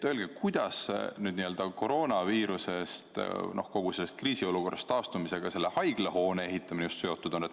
Kuidas koroonaviirusest, kogu sellest kriisiolukorrast taastumisega just haiglahoone ehitamine seotud on?